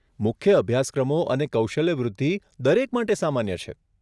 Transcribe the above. મુખ્ય અભ્યાસક્રમો અને કૌશલ્ય વૃદ્ધિ દરેક માટે સામાન્ય છે.